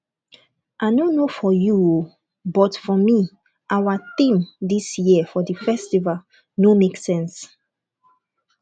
i no know for you oo but for me our theme dis year for the festival no make sense